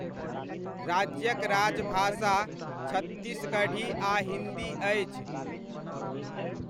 राज्यक राजभाषा छत्तीसगढ़ी आ हिन्दी अछि।